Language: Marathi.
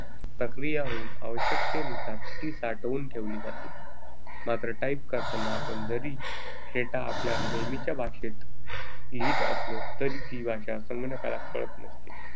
प्रक्रिया होऊन आवश्यकतेनुसार ती साठवून ठेवली जाते. मात्र type करताना आपण जरी data आपल्या नेहमीच्या भाषेत लिहीत असलो तरी ही भाषा संगणकाला कळत नसते.